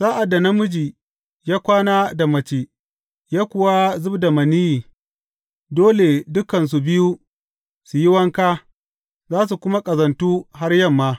Sa’ad da namiji ya kwana da mace ya kuwa zub da maniyyi, dole dukansu biyu su yi wanka, za su kuma ƙazantu har yamma.